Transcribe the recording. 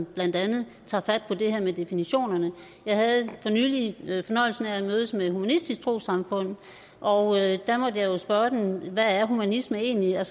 blandt andet tager fat på det her med definitionerne for nylig jeg fornøjelsen af at mødes med humanistisk samfund og der måtte jeg spørge dem om hvad humanisme egentlig er